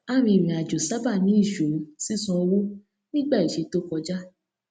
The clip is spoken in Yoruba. arìnrìn àjò sábà ní ìṣòro sísan owó nígbà ìṣe tó kọjá